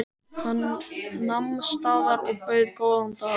Hann nam staðar og bauð góðan dag.